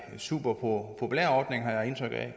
superpopulær ordning har jeg indtryk af